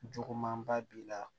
Jugumanba b'i la